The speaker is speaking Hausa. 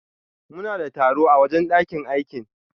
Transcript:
Muna da taro a wajen ɗakin aikin.